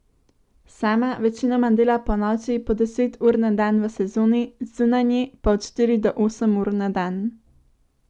Sama večinoma dela ponoči, po deset ur na dan v sezoni, zunaj nje pa od štiri do osem ur na dan.